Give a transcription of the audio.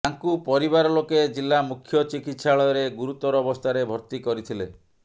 ତାଙ୍କୁ ପରିବାର ଲୋକେ ଜିଲ୍ଲା ମୁଖ୍ୟ ଚିକିତ୍ସାଳୟରେ ଗୁରୁତର ଅବସ୍ଥାରେ ଭର୍ତ୍ତି କରିଥିଲେ